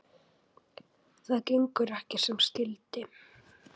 Það gengur ekki sem skyldi.